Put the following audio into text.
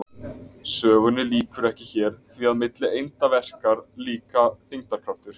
sögunni lýkur ekki hér því að milli einda verkar líka þyngdarkraftur